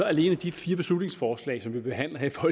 alene de fire beslutningsforslag som vi behandler her i